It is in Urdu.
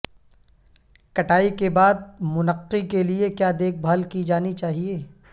کٹائی کے بعد منقی کے لئے کیا دیکھ بھال کی جانی چاہئے